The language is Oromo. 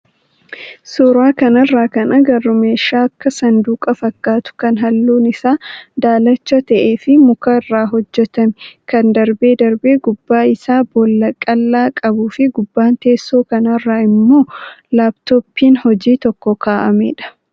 Suuraa kanarraa kan agarru meeshaa akka saanduqa fakkaatu kan halluun isaa daalacha ta'ee fi mukarraa hojjatame kan darbee darbee gubbaa irraa boolla qal'aa qabuu fi gubbaa teessoo kanaarra immoo laappitooppiin hojii tokko kaa'amee jira.